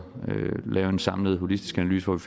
lave en samlet holistisk analyse hvor vi